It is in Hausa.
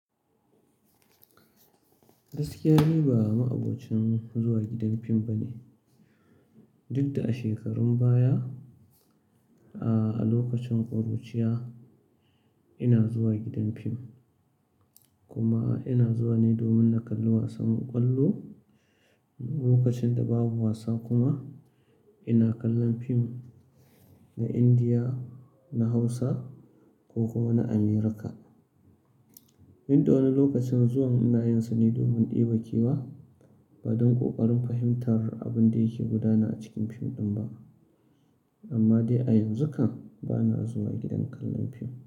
Gaskiya ne, ba ma abokin zuwa gidan fim ba ne. Duk da a shekarun baya, a lokacin ƙuruciya ina zuwa gidan fim, kuma ina zuwa ne domin na kalli wasan ƙwallo. Lokacin da babu wasa kuma ina kallon fim na Indiya, na Hausa ko kuma na Amurka. Dukda wani lokacin zuwan ina yinsa ne domin ɗiba kewa ba don ƙoƙarin fahimtar abin da yake gudana a cikin fim ɗin ba. Amma dai a yanzu kan bana zuwa gidan kallon fim.